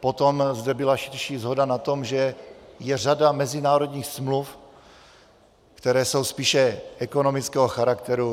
Potom zde byla širší shoda na tom, že je řada mezinárodních smluv, které jsou spíše ekonomického charakteru.